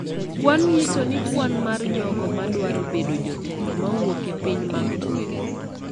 Kwan nyiso ni kwan mar jogo ma dwaro bedo jotelo ma wuok e piny mag gweng',